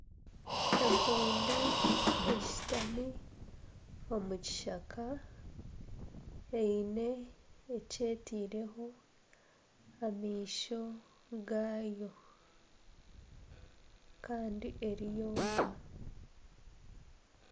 Empundu eshutami omu kishaka eine eki etaireho amaisho gaayo kandi eri yonka